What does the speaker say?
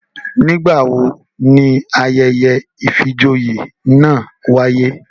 Nigbawo ni ayẹyẹ ìfijoyé náa waye?